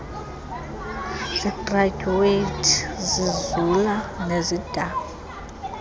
zigradyuwethi zizula nezidanga